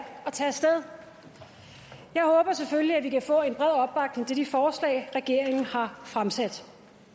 tage sted jeg håber selvfølgelig at vi kan få en bred opbakning til de forslag regeringen har fremsat